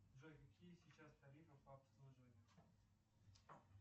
джой какие сейчас тарифы по обслуживанию